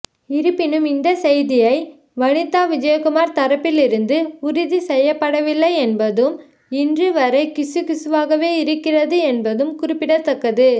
இருப்பினும் இந்த செய்தியை வனிதா விஜயகுமார் தரப்பிலிருந்து உறுதி செய்யப்படவில்லை என்பதும் இன்று வரை கிசுகிசுவாகவே இருக்கிறது என்பதும் குறிப்பிடத்தக்கது